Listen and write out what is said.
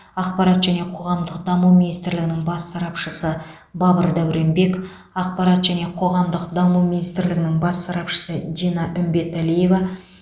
ақпарат және қоғамдық даму министрлігінің бас сарапшысы бабыр дауренбек ақпарат және қоғамдық даму министрлігінің бас сарапшысы дина үмбеталиева